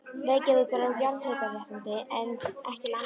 Reykjavíkur á jarðhitaréttindin, en ekki landið.